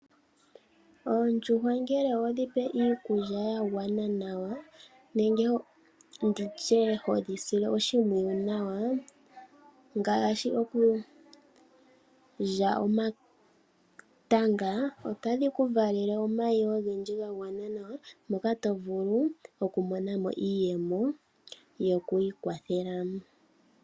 Oondjuhwa ngele wedhi pe iikulya ya gwana nawa, nenge ndi tye hodhi sile oshimpwiyu nawa ngaashi okulya omatanga, otadhi ku valele omayi ogendji ga gwana nawa moka to vulu okumona mo iiyemo yokwiikwathela.